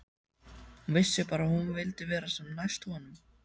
Hún vissi bara að hún vildi vera sem næst honum.